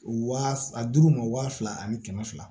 Wa a dur'u ma waa fila ani kɛmɛ fila